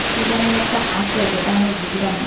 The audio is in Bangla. কী জানি একটা আসে যেটা আমি বুঝলাম না